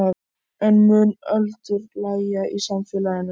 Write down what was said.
En mun öldur lægja í samfélaginu?